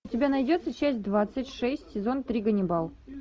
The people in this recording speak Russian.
у тебя найдется часть двадцать шесть сезон три ганнибал